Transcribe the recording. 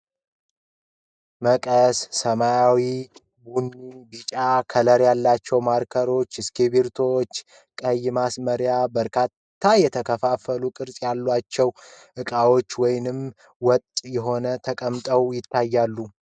መቀስ ፣ ሰማያዊ ፣ ቡኒ ፣ ቢጫ ከለሮች ፣ እስኪብርቶ ፤ ቀይ ማስመሪያ በካሬ የተከፋፈል ቅርፅ ባለው እቃ ውጥ ተቀምጠዋል።